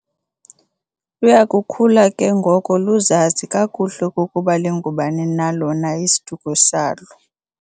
Luyakukhula ke ngoko luzazi kakuhle okokuba lingubani na lona isiduko salo.